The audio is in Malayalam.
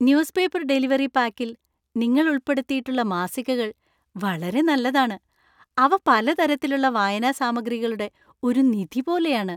ന്യൂസ്‌പേപ്പർ ഡെലിവറി പാക്കിൽ നിങ്ങൾ ഉൾപ്പെടുത്തിയിട്ടുള്ള മാസികകൾ വളരെ നല്ലതാണ് . അവ പല തരത്തിലുള്ള വായനാ സാമഗ്രികളുടെ ഒരു നിധി പോലെയാണ്.